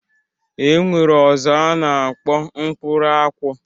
E nwere ọzọ a na-akpọ mkpụrụ akwụ